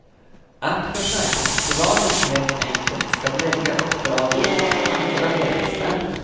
Att försäkringsbolagen helt enkelt ska lägga uppdragen hos andra verkstäder.